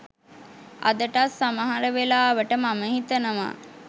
අදටත් සමහර වෙලාවට මම හිතනවා